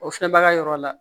O filɛ baga yɔrɔ la